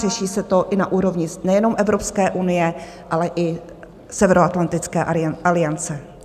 Řeší se to i na úrovni nejenom Evropské unie, ale i Severoatlantické aliance.